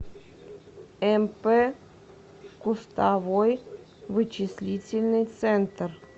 мп кустовой вычислительный центр